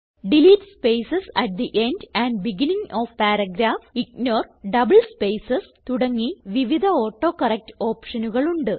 delete spaces at the end and beginning of paragraph ignore double spaces തുടങ്ങി വിവിധ autocorrect ഓപ്ഷനുകൾ ഉണ്ട്